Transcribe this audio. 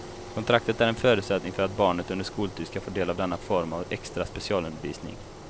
Kontraktet är en förutsättning för att barnet under skoltid ska få del av denna form av extra specialundervisning.